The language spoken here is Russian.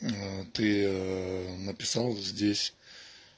ты написал здесь